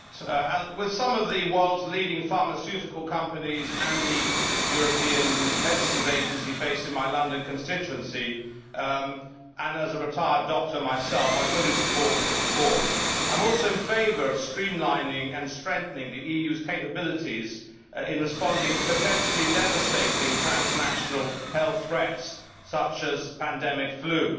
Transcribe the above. Mr President, with some of the world's leading pharmaceutical companies and the European Medicines Agency based in my London constituency, and as a retired doctor myself, I fully support this report. I am also in favour of streamlining and strengthening the EU's capabilities in responding to potentially devastating transnational health threats such as pandemic flu.